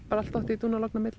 allt dottið í dúnalogn myndir